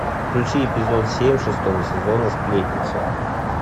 включи эпизод семь шестого сезона сплетница